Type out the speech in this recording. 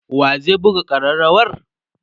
wa zai buga karrawar?